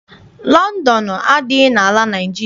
Lọndọnụ adịghị n'ala Naịjirịa.